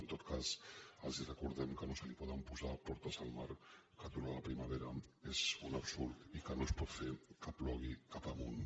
en tot cas els recordem que no se li poden posar portes al mar que aturar la primavera és un absurd i que no es pot fer que plogui cap amunt